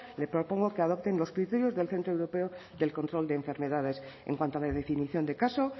le propongo que adopten los criterios del centro europeo del control de enfermedades en cuanto a la definición de caso